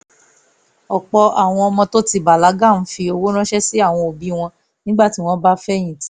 ọ̀pọ̀ àwọn ọmọ tó ti bàlágà ń fi owó ránṣẹ́ sí àwọn òbí wọn nígbà tí wọ́n bá fẹ̀yìn tì